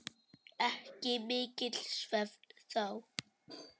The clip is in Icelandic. Ekki mikill svefn þá.